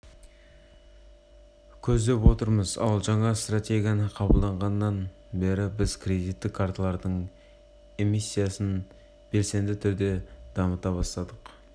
көздеп отырмыз ал жаңа стратегияны қабылдағаннан бері біз кредиттік карталардың эмиссиясын белсенді түрде дамыта бастадық